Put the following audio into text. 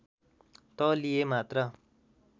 त लिए मात्र